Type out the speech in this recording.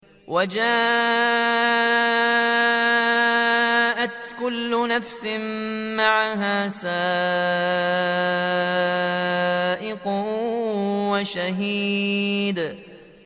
وَجَاءَتْ كُلُّ نَفْسٍ مَّعَهَا سَائِقٌ وَشَهِيدٌ